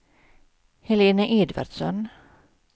Helena Edvardsson